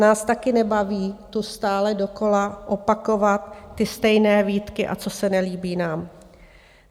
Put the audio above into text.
Nás taky nebaví tu stále dokola opakovat ty stejné výtky a co se nelíbí nám.